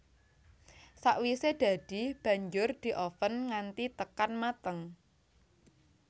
Sakwisè dadi banjur dioven nganti tekan mateng